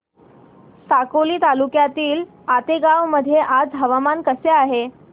साकोली तालुक्यातील आतेगाव मध्ये आज हवामान कसे आहे